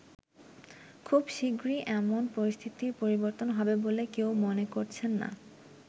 খুব শিগগিরই এমন পরিস্থিতির পরিবর্তন হবে বলে কেউ মনে করছে না।